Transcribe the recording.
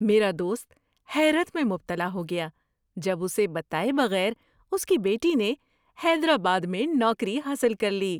میرا دوست حیرت میں مبتلاء ہو گیا جب اسے بتائے بغیر اس کی بیٹی نے حیدرآباد میں نوکری حاصل کر لی۔